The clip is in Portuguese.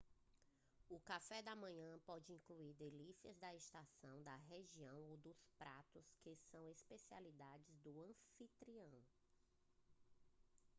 o café da manhã pode incluir delícias da estação da região ou pratos que são especialidade do anfitrião